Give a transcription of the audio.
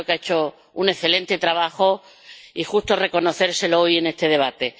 Creo que ha hecho un excelente trabajo y justo es reconocérselo hoy en este debate.